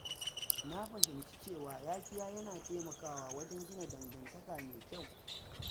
Na fahimci cewa yafiya yana taimakawa wajen gina dangantaka mai kyau.